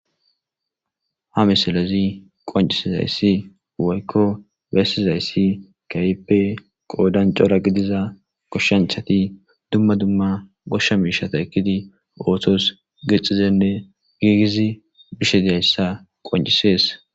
ha misalezi qoncisizayssi woykko beyssizayssi kaype qoodan cora gidiza koshshenchati dumma dumma goshsha miishata ekkidi ootos gixizenne giigizi bishe diyayssa qoncisees